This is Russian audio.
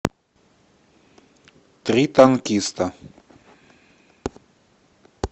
три танкиста